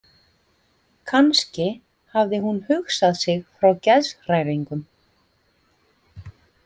Kannski hafði hún hugsað sig frá geðshræringum.